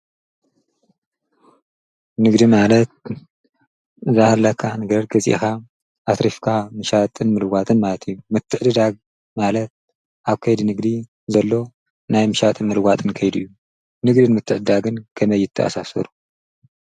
ንግዲ ማለት ዝሃላካ ነገረድ ገዚኻ ኣትሪፍካ ምሻትን ምልዋትን ማልት ምትዕድዳግ ማለት ኣብ ከይድ ንግዲ ዘሎ ናይ ምሻትን ምልዋትን ከይድ ዩ ንግድን ምትእዳግን ከመይትኣሳሰሩ።